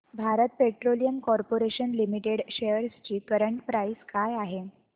Bharat petroleum corporation limited shares ची current price काय आहे